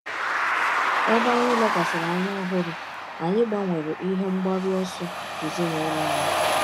Ebe anyị lekwasịrị anya ọhụrụ, anyị gbanwere ihe mgbaru ọsọ ezinụlọ anyị.